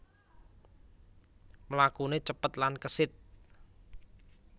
Mlakuné cepet lan kesit